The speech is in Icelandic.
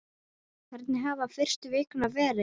Hvernig hafa fyrstu vikurnar verið?